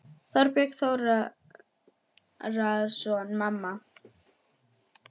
Þorbjörn Þórðarson: Mamma?